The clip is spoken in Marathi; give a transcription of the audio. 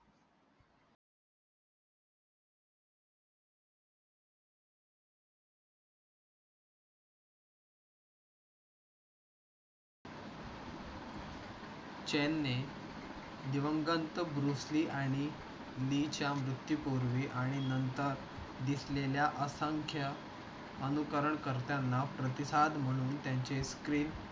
चैन ने दिवगंत ब्रूस ली आणि ली च्या मृत्यू पूर्वी आणि नंतर दिसलेल्या असंख्य अनुकरण करताना प्रतिसाद म्हणून त्यांचे screen